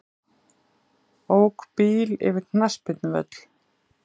Ók bíl yfir knattspyrnuvöll